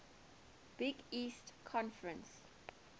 big east conference